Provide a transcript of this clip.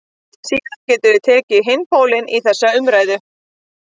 Síðan getum við tekið hinn pólinn í þessa umræðu.